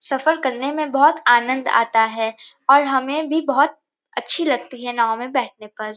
सफर करने में बहोत आनंद आता है और हमें भी बहोत अच्छी लगती है नाव में बैठने पर।